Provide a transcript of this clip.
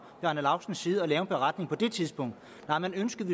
bjarne laustsens side at lave en beretning på det tidspunkt nej man ønskede